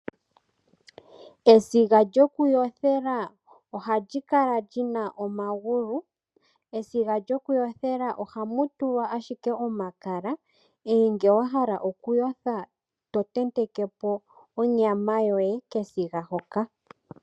Esiga lyokuyothela ohali kala lyina omagulu. Esiga lyokuyothela ohamu tulwa ashike omakala, ngoye ngele wahala okuyotha totentekepo onyama yoye kesiga hoka.